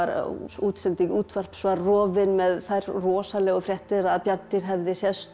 útsending útvarps var rofin með þær rosalegu fréttir að bjarndýr hefði sést og